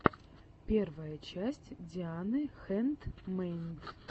первая часть дианы хэндмэйд